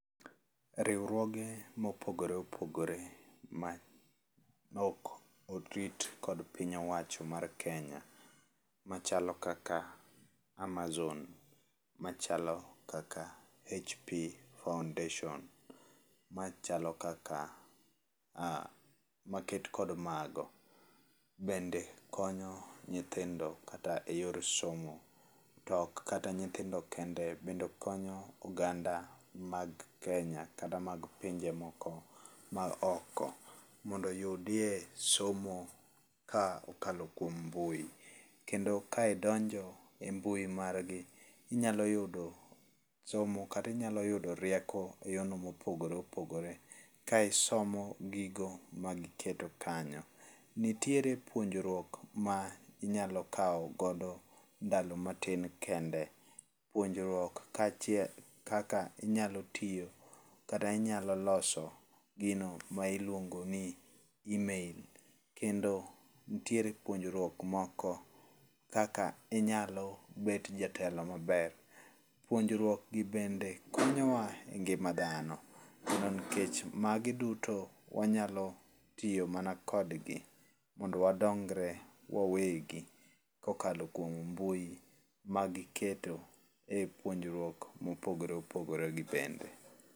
Riwruoge mopogore opogore maok o treat kod piny owacho mar Kenya, machalo kaka Amazon, machalo kaka HP Foundation, machalo kaka ah, maket kod mago, bende konyo nyithindo kata eyor somo. To ok kata nyithindo kende, bende konyo oganda mag Kenya, kata mag pinje moko maoko mondo oyudie somo kokalo kuom mbui. Kendo ka idonjo e mbui margi, inyalo yudo somo kata inyalo yudo rieko eyorno mopogore opogore ka isomo gigo ma giketo kanyo. Nitiere puonjruok ma inyalo kawo godo ndalo matin kende. Puonjruok kaachiel kaka inyalo tiyo kata inyalo loso gino ma iluongo ni email. Kendo nitiere puonjruok moko kaka inyalo bet jatelo maber. Puonjruok gi bende konyowa e ngima dhano to nikech magi duto wanyalo tiyo mana kodgi mondo wadongre wawegi kokalo kuom mbui magiketo e puonjruok mopogore opogore gibende.